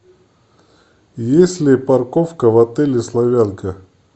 есть ли парковка в отеле славянка